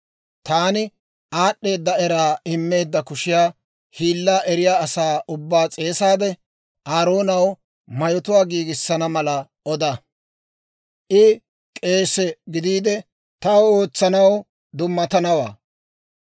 Taani aad'd'eeda era immeedda kushiyaa hiilaa eriyaa asaa ubbaa s'eesaade, Aaroonaw mayotuwaa giigissana mala oda; I k'eesee gidiide, taw ootsanaw dummatanawaa.